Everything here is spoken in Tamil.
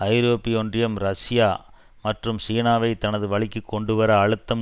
ஐரோப்பிய ஒன்றியம் ரஷ்யா மற்றும் சீனாவை தனது வழிக்கு கொண்டுவர அழுத்தம்